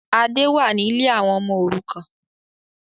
Adé wá ní lè àwọn ọmọ òrukàn